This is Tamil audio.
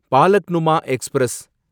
பாலக்னுமா எக்ஸ்பிரஸ்